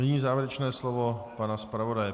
Nyní závěrečné slovo pana zpravodaje.